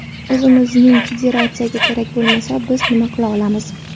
O‘zimizning federatsiyaga kerak bo‘lmasa, biz nima qila olamiz?